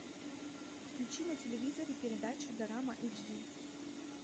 включи на телевизоре передачу дорама эйч ди